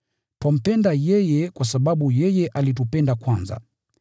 Twampenda yeye kwa sababu yeye alitupenda kwanza.